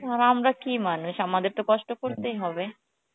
আর আমরা কি মানুষ আমাদের তো কষ্ট করতেই হবে